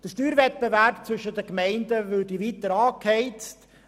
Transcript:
Der Steuerwettbewerb würde weiter angeheizt;